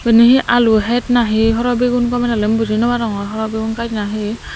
ebini hi alu het nahi horobigun gomey dalen buji naw barongor horo bigun gaj na hi.